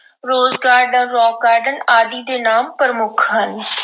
Rose Garden, Rock Garden ਆਦਿ ਦੇ ਨਾਮ ਪ੍ਰਮੁੱਖ ਹਨ।